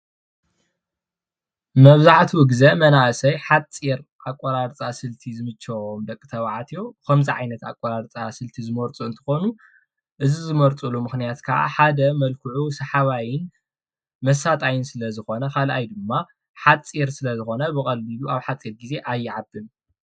መብዛሕትኡ ግዜ መናእሰይ ሓፂር ኣቆራርፃ ስልቲ ዝምቸዎም ደቂ ተባዕትዮ መብዛሕትኡ ግዜ ኣቆራርፃ ስልቲ ዝመርፁ እንትኮኑ እዚ ዝመርፅሉ ምክንያት ከዓ ሓደ ሰሓባይን መሳጣይን ስለ ዝኮነ ካልኣይ ድማ ሓፂር ስለ ዝኮነ ብካልእ ድማ ኣብ ሓፂር ግዜ ኣይዓብን፡፡